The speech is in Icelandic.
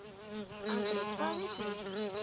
Andri: Hvað miklum?